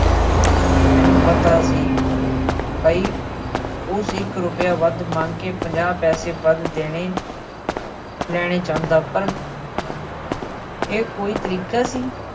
ਮੈਨੂੰ ਪਤਾ ਸੀ ਪਈ ਉਹ ਇੱਕ ਰੁਪਇਆ ਵੱਧ ਮੰਗ ਕੇ ਪੰਜਾਹ ਪੈਸੇ ਵੱਧ ਦੇਣਾ ਲੈਣੇ ਚਾਹੁੰਦਾ ਪਰ ਇਹ ਕੋਈ ਤਰੀਕਾ ਸੀ?